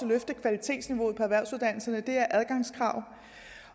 løfte kvalitetsniveauet på erhvervsuddannelserne er adgangskrav